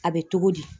A bɛ togo di